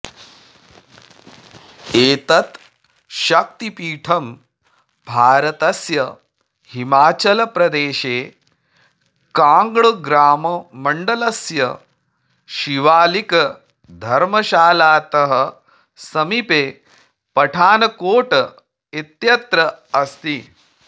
एतत् शक्तिपीठं भारतस्य हिमाचलप्रदेशे काङ्ग्रामण्डलस्य शिवालिकधर्मशालातः समीपे पठानकोट इत्यत्र अस्ति